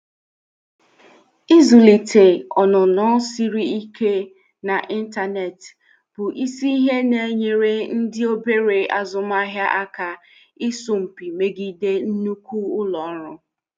Ịzụlite ọnụnọ siri ike n'ịntanetị bụ isi ihe na-enyere ndị obere azụmahịa aka ịsọ mpi megide nnukwu ụlọ ọrụ.